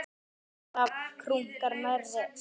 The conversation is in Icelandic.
Hrafn krunkar nærri.